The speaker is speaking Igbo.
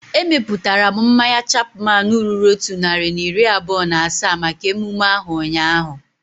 Emeputara m mmanya Chapman ruru otu narị na iri abụọ na asaa maka emume ahu ụnyaahụ